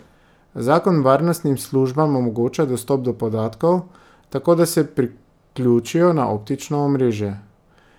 Zakon varnostnim službam omogoča dostop do podatkov, tako da se priključijo na optično omrežje.